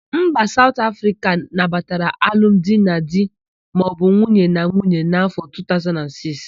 Mba Saut Afrịka nabatara alum di na di maọbụ nwunye na nwunye n'áfọ̀ 2006.